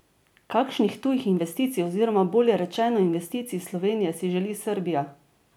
Kakšnih tujih investicij oziroma bolje rečeno investicij iz Slovenije si želi Srbija?